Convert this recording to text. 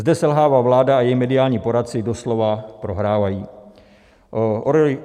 Zde selhává vláda a její mediální poradci doslova prohrávají.